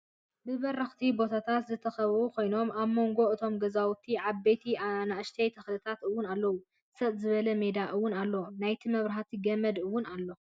ብበረክቲ ቦታት ዝተከበቡ ኮይኑ ኣብ ሞንጎታት እቶም ገዛውቲ ዓበይቲን ኣናእሽተይን ተክልታት እውን ኣለው። ሰጥ ዝበለ ሜዳ እውን ኣሎ። ናይ መብራህቲ ገመድ እውን ኣሎ።